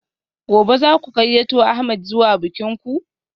Gobe ​​zaku gayyato ahmed zuwa bikin ku?